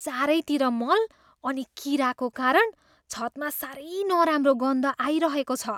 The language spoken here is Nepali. चारैतिर मल अनि कीराको कारण छतमा साह्रै नराम्रो गन्ध आइरहेको छ।